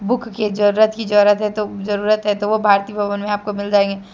Book की जरूरत ही जरूरत है तो जरूरत है तो वो भारती भवन में आपको मिल जाएंगे।